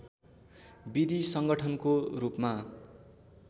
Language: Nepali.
विधि संगठनको रूपमा